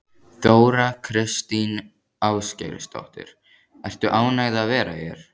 Þóra Kristín Ásgeirsdóttir: Ertu ánægð að vera hér?